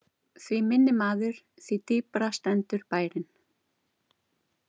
Því minni maður, því dýpra stendur bærinn.